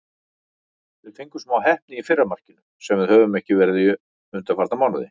Við fengum smá heppni í fyrra markinu, sem við höfum ekki verið undanfarna mánuði.